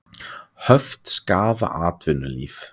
Höft skaða atvinnulíf